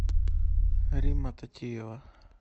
римма татиева